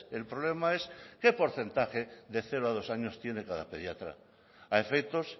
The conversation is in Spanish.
el problema es qué porcentaje de cero a dos años tiene cada pediatra a efectos